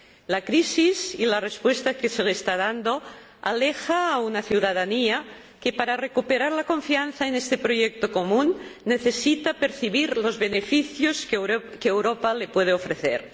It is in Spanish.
La crisis y la respuesta que se le está dando alejan a una ciudadanía que, para recuperar la confianza en este proyecto común, necesita percibir los beneficios que Europa le puede ofrecer.